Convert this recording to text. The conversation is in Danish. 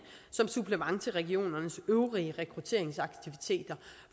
som supplement til regionernes øvrige rekrutteringsaktiviteter